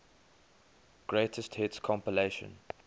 greatest hits compilation